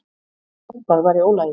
Eitthvað var í ólagi.